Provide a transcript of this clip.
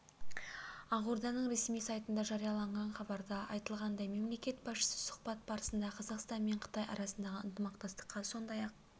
ақорданың ресми сайтында жарияланған хабарда айтылғандай мемлекет басшысы сұхбат барысында қазақстан мен қытай арасындағы ынтымақтастыққа сондай-ақ